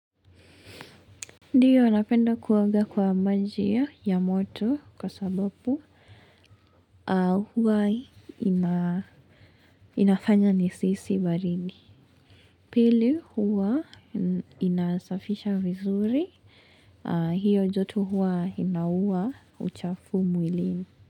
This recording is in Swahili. Ndio, napenda kuoga kwa maji ya moto kwa sababu huwa inafanya nisihisi baridi. Pili huwa inasafisha vizuri. Hio joto huwa inaua uchafu mwilini.